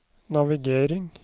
navigering